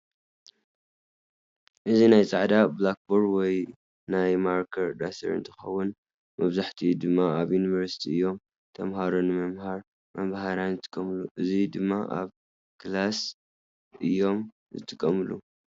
እዚ ናይ ፃዕዳ ቡላኮር ወይ ናይ ማርከር ዳስተር እትከውን መብዛሕትኡ ድማ ኣብ ዩኒቨርስቲ እዮም ተማሃሮ ንምምሃር መምሃራን ዝጥቀምሉ። እዚ ድማ ኣብ ክላስ እዮም ዝጥቀምሉ።